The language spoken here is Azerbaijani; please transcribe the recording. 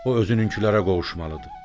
O özününkilərə qovuşmalıdır.